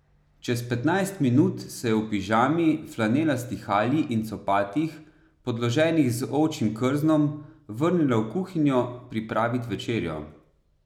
Čez petnajst minut se je v pižami, flanelasti halji in copatih, podloženih z ovčjim krznom, vrnila v kuhinjo pripravit večerjo.